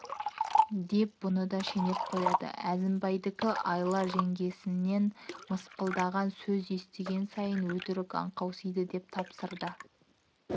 деп бұны да шенеп қояды әзімбайдікі айла жеңгесінен мысқылдаған сөз естіген сайын өтірік аңқаусиды деп тапсырды